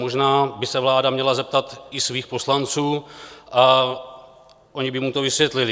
Možná by se vláda měla zeptat i svých poslanců a oni by jí to vysvětlili.